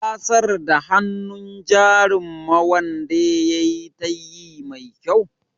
Ka sar da hannun jarin ma'wande yayi tayyi mai kyau.